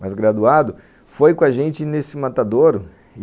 mas graduado, foi com a gente nesse matadouro.